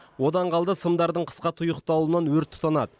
одан қалды сымдардың қысқа тұйықталуынан өрт тұтанады